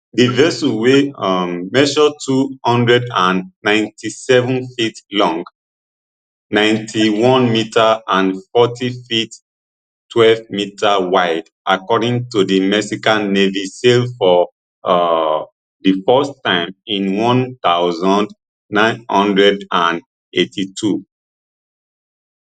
di vessel wey um measure two hundred and ninety-seven feet long ninety-one metre and forty feet twelve meter wide according to di mexican navy sail for um di first time in one thousand, nine hundred and eighty-two